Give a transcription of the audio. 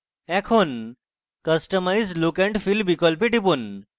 এখন customise look and feel বিকল্পে টিপুন